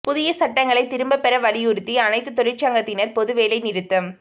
புதிய சட்டங்களை திரும்பப் பெற வலியுறுத்தி அனைத்துத் தொழிற்சங்கத்தினா் பொது வேலை நிறுத்தம்